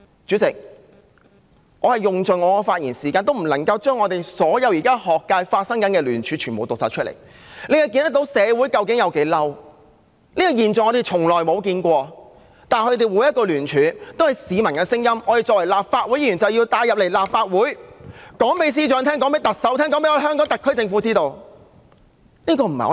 主席，我用盡我的發言時間也不能夠將現時學界的聯署全部讀出來，可見社會究竟有多憤怒，這個現象是我們從來沒有見過的，但他們每一個聯署，也是市民的聲音，我們作為立法會議員，便要帶入立法會，告訴司長、告訴特首和告訴香港特區政府，這不是我們"生安白造"的......